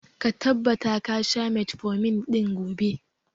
Ka tabbata ga sha metformin ɗin gobe!